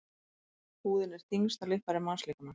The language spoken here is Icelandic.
Húðin er þyngsta líffæri mannslíkamans.